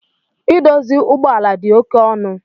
Idozi ugbọala di oke ọnu.